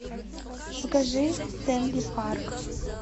покажи стэнли парк